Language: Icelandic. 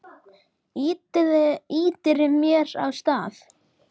Ýtir mér af stað.